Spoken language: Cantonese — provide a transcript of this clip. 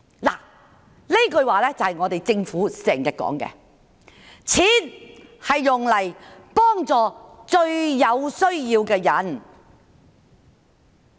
這句話正正是政府經常說的：錢是用來幫助最有需要的人。